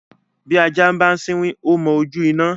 bi ajá ń bá siwin o mọ ojú iná